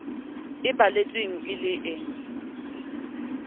e balletsweng e le e